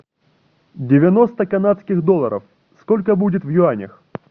девяносто канадских долларов сколько будет в юанях